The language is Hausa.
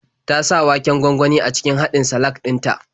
Ta sa waken gwangwani a cikin haɗin salak din ta.